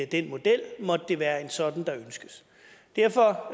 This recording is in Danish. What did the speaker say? den model måtte det være en sådan der ønskes derfor